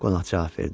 Qonaq cavab verdi.